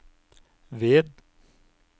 ved